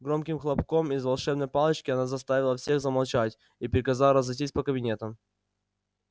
громким хлопком из волшебной палочки она заставила всех замолчать и приказала разойтись по кабинетам